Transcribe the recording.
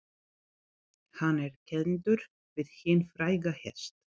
Hann er kenndur við hinn fræga hest